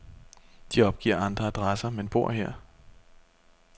De opgiver andre adresser, men bor her.